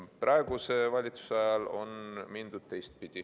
Praeguse valitsuse ajal on mindud teistpidi.